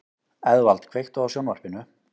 Eðvald, kveiktu á sjónvarpinu.